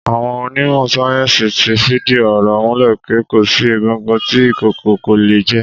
Àwọn onímọ̀ sáyẹ́ńsì ti fìdí ọ̀rọ̀ múlẹ̀ pé kò sí egungun tí ìkookò kò lè jẹ.